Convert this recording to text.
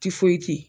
Tifoyiti